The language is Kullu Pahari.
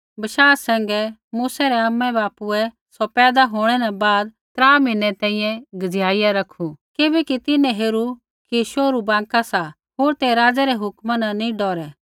विश्वासा सैंघै मूसै रै आमाबापुऐ सौ पैदा होंणै न बाद त्रा म्हीनै तैंईंयैं छुपाईया रैखू किबैकि तिन्हैं हेरू कि शोहरु बाँका सा होर तै राज़ै रै हुक्मा न नी डौरै